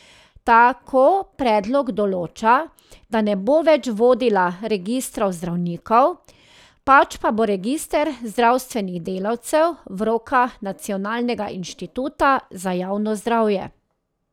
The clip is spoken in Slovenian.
Tako predlog določa, da ne bo več vodila registra zdravnikov, pač pa bo register zdravstvenih delavcev v rokah Nacionalnega inštituta za javno zdravje.